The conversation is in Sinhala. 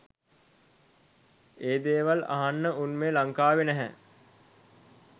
ඒ දේවල් අහන්න උන් මේ ලංකාවේ නැහැ